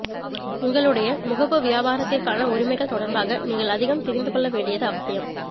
உங்களுடைய முகப்பு வியாபாரத்திற்கான உரிமைகள் தொடர்பாக நீங்கள் அதிகம் தெரிந்து கொள்ள வேண்டியது அவசியம்